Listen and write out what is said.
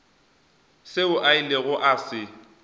seo a ilego a se